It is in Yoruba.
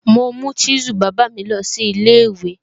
Mo mú chisel bàbá mi lọ sí ilé ìwé.